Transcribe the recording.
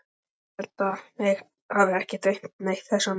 Ég held að mig hafi ekki dreymt neitt þessa nótt.